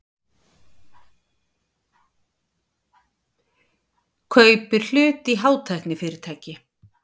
Kaupir hlut í hátæknifyrirtæki